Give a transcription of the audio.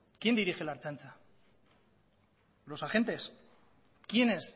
quién dirige la ertzaintza los agentes quienes